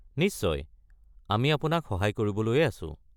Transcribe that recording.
নিশ্চয়, আমি আপোনাক সহায় কৰিবলৈয়ে আছোঁ।